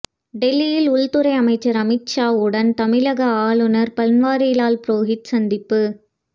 டெல்லியில் உள்துறை அமைச்சர் அமித்ஷாவுடன் தமிழக ஆளுநர் பன்வாரிலால் புரோகித் சந்திப்பு